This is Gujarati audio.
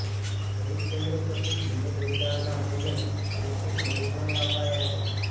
ખરીદ કેન્દ્રો પરથી તુવેર વેચાણના પેમેન્ટ ચેકથી ખેડૂતોને અપાયા છે